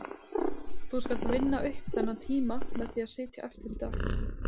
Þú skalt vinna upp þennan tíma með því að sitja eftir í dag